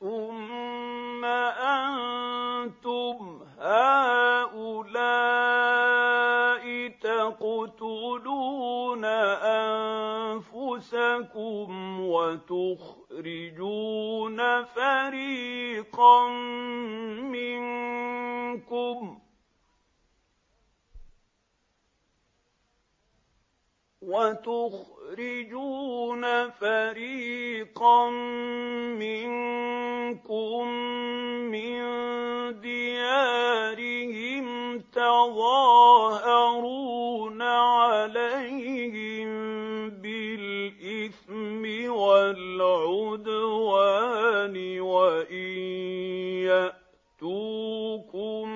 ثُمَّ أَنتُمْ هَٰؤُلَاءِ تَقْتُلُونَ أَنفُسَكُمْ وَتُخْرِجُونَ فَرِيقًا مِّنكُم مِّن دِيَارِهِمْ تَظَاهَرُونَ عَلَيْهِم بِالْإِثْمِ وَالْعُدْوَانِ وَإِن يَأْتُوكُمْ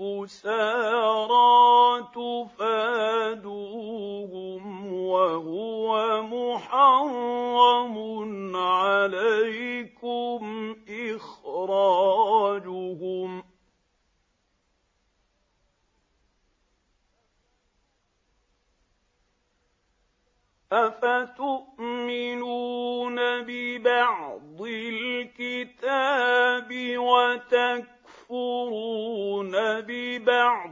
أُسَارَىٰ تُفَادُوهُمْ وَهُوَ مُحَرَّمٌ عَلَيْكُمْ إِخْرَاجُهُمْ ۚ أَفَتُؤْمِنُونَ بِبَعْضِ الْكِتَابِ وَتَكْفُرُونَ بِبَعْضٍ ۚ فَمَا جَزَاءُ مَن يَفْعَلُ ذَٰلِكَ مِنكُمْ إِلَّا خِزْيٌ فِي الْحَيَاةِ الدُّنْيَا ۖ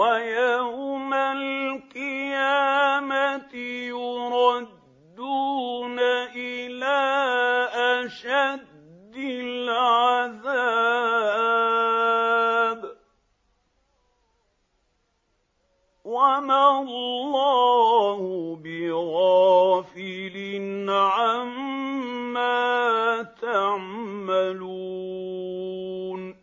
وَيَوْمَ الْقِيَامَةِ يُرَدُّونَ إِلَىٰ أَشَدِّ الْعَذَابِ ۗ وَمَا اللَّهُ بِغَافِلٍ عَمَّا تَعْمَلُونَ